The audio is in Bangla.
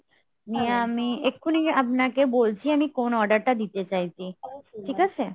নিয়ে এক্ষুনি আপনাকে বলছি আমি কোন order টা দিতে চাইছি। ঠিক আছে?